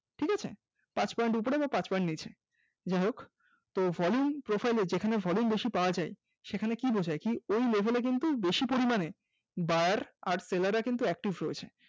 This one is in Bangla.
ঠিকাছে পাঁচ point উপরে অথবা পাঁচ point নিচে যাই হোক তো volume profile এ volume যেখানে volume বেশি পাওয়া যায় সেখানে কি বোঝায় কি এই level এ কিন্তু বেশি পরিমাণে Buyer আর seller রা কিন্তু active রয়েছে